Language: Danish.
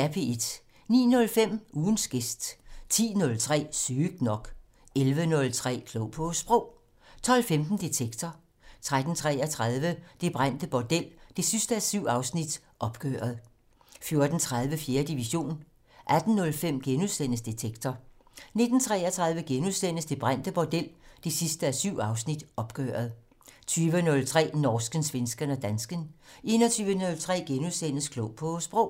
09:05: Ugens gæst 10:03: Sygt nok 11:03: Klog på Sprog 12:15: Detektor 13:33: Det brændte bordel 7:7 - Opgøret 14:30: 4. division 18:05: Detektor * 19:33: Det brændte bordel 7:7 - Opgøret * 20:03: Norsken, svensken og dansken 21:03: Klog på Sprog *